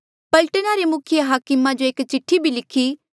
पलटना रे मुखिये हाकम जो एक चिठ्ठी भी लिखी